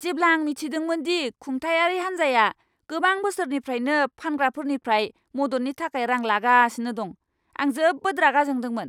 जेब्ला आं मिथिदोंमोन दि खुंथायारि हान्जाया गोबां बोसोरनिफ्रायनो फानग्राफोरनिफ्राय मददनि थाखाय रां लागासिनो दं, आं जोबोद रागा जोंदोंमोन!